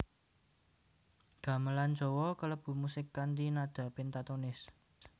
Gamelan Jawa kalebu musik kanthi nada pentatonis